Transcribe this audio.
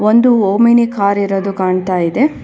ಒಂದು Omni car ಇರೋದು ಕಾಣ್ತಾ ಇದೆ.